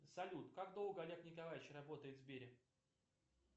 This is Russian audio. салют как долго олег николаевич работает в сбере